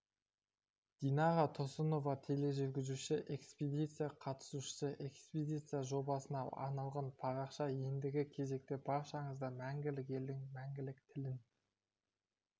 динара тұрсынова тележүргізуші экспедиция қатысушысы экспедиция жобасына арналған парақша ендігі кезекте баршаңызды мәңгілік елдің мәңгілік тілін